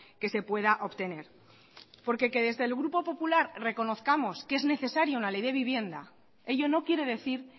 que se pueda obtener porque que desde el grupo popular reconozcamos que es necesario una ley de vivienda ello no quiere decir